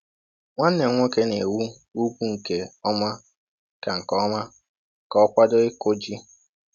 Nwanne m nwoke na-ewu ugwu nke ọma ka nke ọma ka ọ kwado ịkụ ji.